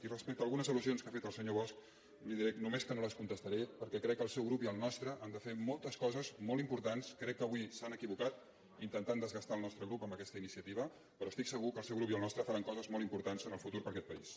i respecte a algunes al·lusions que ha fet el senyor bosch li diré només que no les contestaré perquè crec que el seu grup i el nostre han de fer moltes coses molt importants crec avui s’han equivocat intentant desgastar el nostre grup amb aquesta iniciativa però estic segur que el seu grup i el nostre faran coses molt importants en el futur per a aquest país